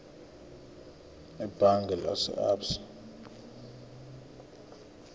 ebhange lase absa